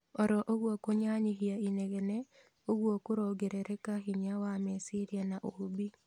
Oro ũguo kũnyanyihia inegene ũguo korongerereka hinya wa meciria na ũũmbi